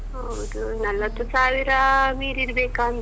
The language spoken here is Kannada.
ಹೌದು ನಲವತ್ತು ಸಾವಿರಾ ಮೀರಿರಬೇಕಾ ಅಂತ.